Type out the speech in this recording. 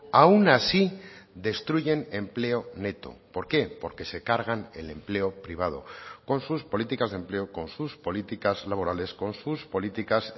aun así destruyen empleo neto por qué porque se cargan el empleo privado con sus políticas de empleo con sus políticas laborales con sus políticas